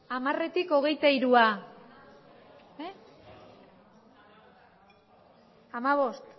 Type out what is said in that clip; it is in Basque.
hamaretik